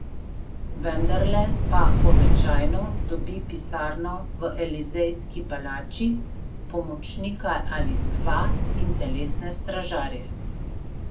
Vendarle pa običajno dobi pisarno v Elizejski palači, pomočnika ali dva in telesne stražarje.